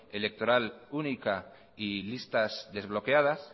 electoral única y listas desbloqueadas